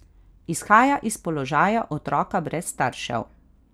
Izhaja iz položaja otroka brez staršev.